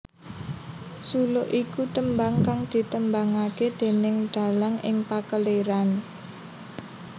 Suluk iku tembang kang ditembangake déning dalang ing pakeliran